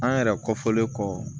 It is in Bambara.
An yɛrɛ kɔfɔlen kɔ